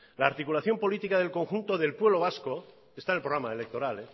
la articulación política del conjunto del pueblo vasco está en el programa electoral